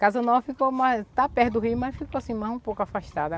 Casa Nova ficou mais, está perto do Rio, mas ficou assim, mais um pouco afastada.